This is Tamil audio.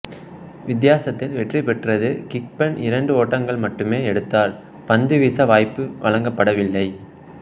வித்தியாசத்தில் வெற்றி பெற்றது கிஃபென் இரண்டு ஓட்டங்கள் மட்டுமே எடுத்தார் பந்து வீச வாய்ப்பு வழங்கப்படவில்லை